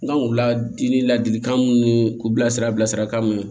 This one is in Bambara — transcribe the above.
N kan k'u ladi ni ladilikan mun ni k'u bilasira bilasirakan mɛn